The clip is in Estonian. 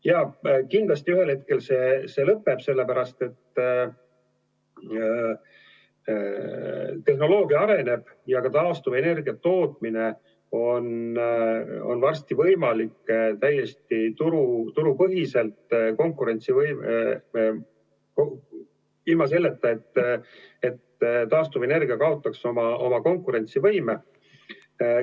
Jaa, kindlasti ühel hetkel see lõpeb, sellepärast et tehnoloogia areneb ja ka taastuvenergia tootmine on varsti võimalik täiesti turupõhiselt, ilma et taastuvenergia kaotaks oma konkurentsivõime.